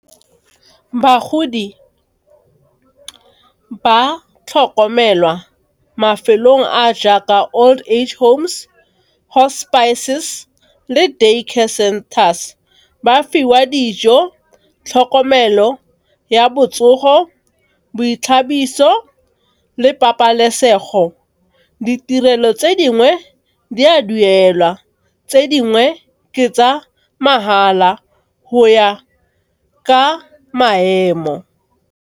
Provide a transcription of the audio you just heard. Bagodi ba tlhokomelwa mafelong a jaaka old age homes, hospices le Day care centres. Ba fiwa dijo, tlhokomelo ya botsogo, boithabiso le pabalesego. Ditirelo tse dingwe di a duelwa, tse dingwe ke tsa mahala go ya ka maemo.